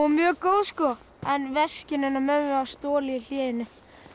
mjög góð en veskinu hennar mömmu var stolið í hléinu